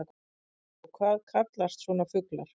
Magnús: Og hvað kallast svona fuglar?